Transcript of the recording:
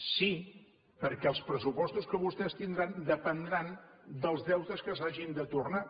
sí perquè els pressupostos que vostès tindran dependran dels deutes que s’hagin de tornar